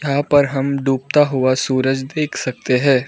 यहां पर हम डूबता हुआ सूरज देख सकते हैं।